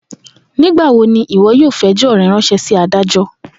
Nigbawo ni iwọ yoo fi ẹjọ rẹ ranṣẹ si adajọ?